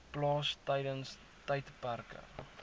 plaas tydens tydperke